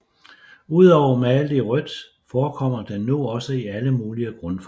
Udover malet i rødt forekommer den nu også i alle mulige grundfarver